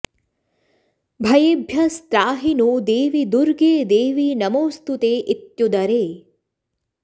भयेभ्यस्त्राहि नो देवि दुर्गे देवि नमोऽस्तु ते इत्युदरे